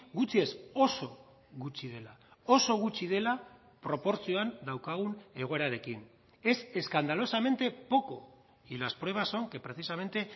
gutxi ez oso gutxi dela oso gutxi dela proportzioan daukagun egoerarekin es escandalosamente poco y las pruebas son que precisamente